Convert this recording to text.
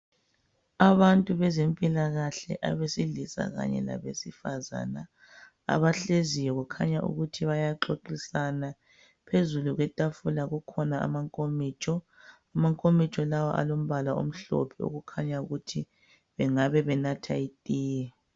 Abantu bezempilakahle abesilisa kanye labesifazana abahleziyo kukhanya ukuthi bayaxoxisana. Phezulu kwetafula kukhona amankomitsho. Amankomitsho lawa alombala omhlophe okukhanya ukuthi bengabe benatha itiye